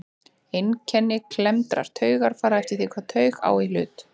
Einkenni klemmdrar taugar fara eftir því hvaða taug á í hlut.